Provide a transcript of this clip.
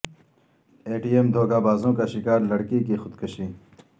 اے T M دھوکہ بازوں کا شکار لڑکی کی خود کشی